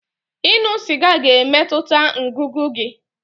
Ịṅụ sịga ga-emetụta ngụgụ gị.